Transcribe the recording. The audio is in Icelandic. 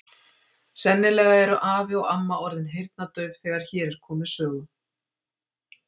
Sennilega eru afi og amma orðin heyrnardauf þegar hér er komið sögu